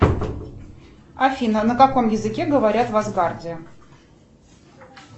афина на каком языке говорят в асгарде